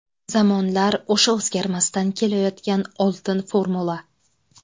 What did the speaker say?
Zamonlar o‘sha o‘zgarmasdan kelayotgan oltin formula.